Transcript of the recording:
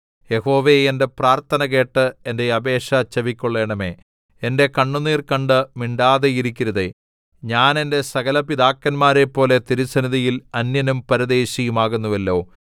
യഹോവേ എന്റെ പ്രാർത്ഥന കേട്ട് എന്റെ അപേക്ഷ ചെവിക്കൊള്ളണമേ എന്റെ കണ്ണുനീർ കണ്ട് മിണ്ടാതിരിക്കരുതേ ഞാൻ എന്റെ സകലപിതാക്കന്മാരെയും പോലെ തിരുസന്നിധിയിൽ അന്യനും പരദേശിയും ആകുന്നുവല്ലോ